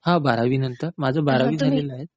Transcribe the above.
हां बारावी नंतर.माझं बारावी झालेलं आहे.